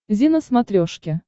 зи на смотрешке